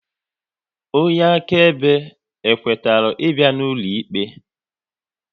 Onye akaebe e kwetara ị bịa ụlọikpe?